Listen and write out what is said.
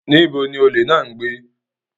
Níbo ni olè náà ń gbé?